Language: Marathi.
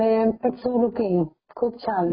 तिथे एक धार्मिक स्थान पण आहे पंचमढी ला